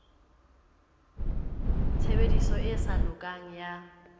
tshebediso e sa lokang ya